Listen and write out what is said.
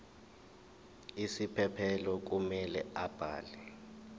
isiphephelo kumele abhale